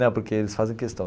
Não, porque eles fazem questão.